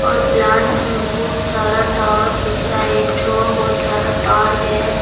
और प्लांट्स में बहुत सारा टॉवर दिख रहा हैं एकठो बहुत सारा तार हैं।